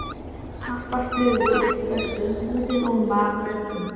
Tappar flugu úr flöskum, húsið ómaði af röddum.